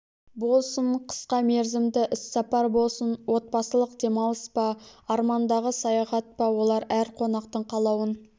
болсын қысқа мерзімді іссапар болсын отбасылық демалыс па армандағы саяхат па олар әр қонақтың қалауын